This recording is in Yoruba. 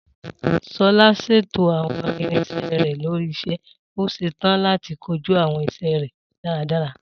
Sola ṣètò àwọn irinṣẹ́ rẹ̀ lórí iṣẹ́, ó ṣetán láti kojú àwọn iṣẹ́ rẹ̀ dáradára.